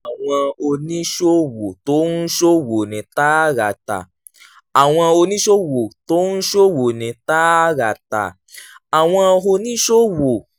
àwọn oníṣòwò tó ń ṣòwò ní tààràtà àwọn oníṣòwò tó ń ṣòwò ní tààràtà àwọn oníṣòwò